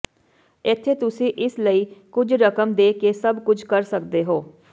ਇੱਥੇ ਤੁਸੀਂ ਇਸ ਲਈ ਕੁਝ ਰਕਮ ਦੇ ਕੇ ਸਭ ਕੁਝ ਕਰ ਸਕਦੇ ਹੋ